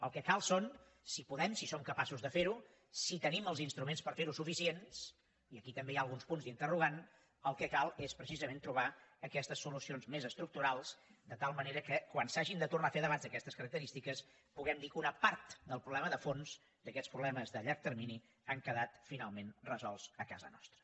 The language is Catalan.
el que cal són si podem si som capaços de fer ho si tenim els instruments per ferho suficients i aquí també hi ha alguns punts d’interrogant el que cal és precisament trobar aquestes solucions més estructurals de tal manera que quan s’hagin de tornar a fer debats d’aquestes característiques puguem dir que una part del problema de fons d’aquests problemes de llarg termini han quedat finalment resolts a casa nostra